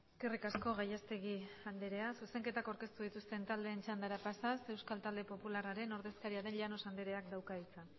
eskerrik asko gallastegui anderea zuzenketak aurkeztu dituzten taldeen txandara pasaz euskal talde popularraren ordezkaria den llano andereak dauka hitza